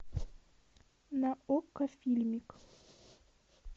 на окко фильмик